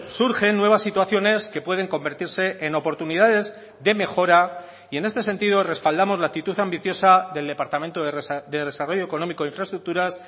surgen nuevas situaciones que pueden convertirse en oportunidades de mejora y en este sentido respaldamos la actitud ambiciosa del departamento de desarrollo económico e infraestructuras